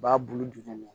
U b'a bulu duguma